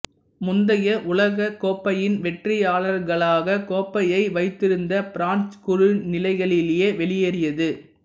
முந்தைய உலகக்கோப்பையின் வெற்றியாளர்களாக கோப்பையை வைத்திருந்த பிரான்சு குழுநிலைகளிலேயே வெளியேறியது